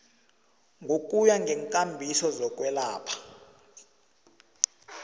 ngokuya ngeenkambiso zokwelatjhwa